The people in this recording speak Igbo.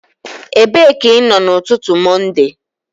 Ebee ka ị nọ n'ụtụtụ Mọnde?